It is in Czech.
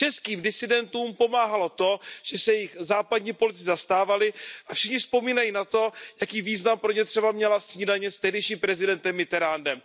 Českým disidentům pomáhalo to, že se jich západní politici zastávali, a všichni vzpomínají na to, jaký význam pro ně třeba měla snídaně s tehdejším prezidentem Mitterrandem.